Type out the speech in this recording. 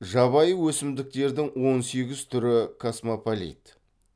жабайы өсімдіктердің он сегіз түрі космополит